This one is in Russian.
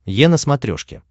е на смотрешке